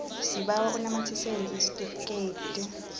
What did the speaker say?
sibawa unamathisele isitifikedi